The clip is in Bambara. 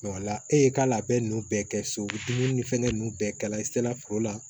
e ye k'a labɛn ninnu bɛɛ kɛ so dumuni ni fɛngɛ ninnu bɛɛ kala i tɛ se ka foro la